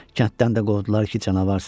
Kənddən də qovdular ki, canavarsan.